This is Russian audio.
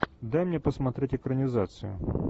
дай мне посмотреть экранизацию